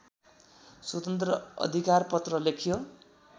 स्वतन्त्र अधिकारपत्र लेख्यो